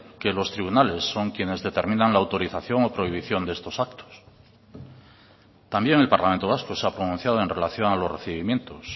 que los tribunales son quienes determinan la autorización o prohibición de estos actos también el parlamento vasco se ha pronunciado en relación a los recibimientos